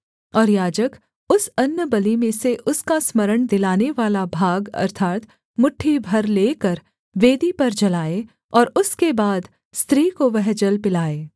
और याजक उस अन्नबलि में से उसका स्मरण दिलानेवाला भाग अर्थात् मुट्ठी भर लेकर वेदी पर जलाए और उसके बाद स्त्री को वह जल पिलाए